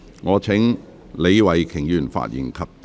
我請李慧琼議員發言及動議議案。